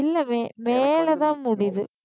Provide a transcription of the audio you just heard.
இல்ல மே மேலதான் முடியுது